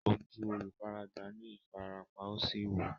Ojú olùfaragbá ní ìfarapa, ó sì wú.